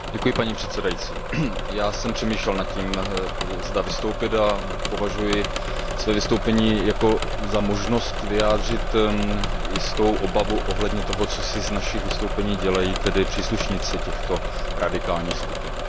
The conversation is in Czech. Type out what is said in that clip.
Paní předsedající, já jsem přemýšlel nad tím, zda vystoupit, a považuji své vystoupení za možnost vyjádřit jistou obavu ohledně toho, co si z našich vystoupení dělají příslušníci těchto radikálních skupin.